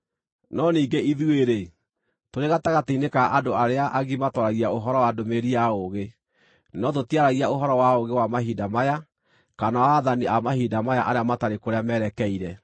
No ningĩ ithuĩ-rĩ, tũrĩ gatagatĩ-inĩ ka andũ arĩa agima twaragia ũhoro wa ndũmĩrĩri ya ũũgĩ, no tũtiaragia ũhoro wa ũũgĩ wa mahinda maya, kana wa aathani a mahinda maya arĩa matarĩ kũrĩa merekeire.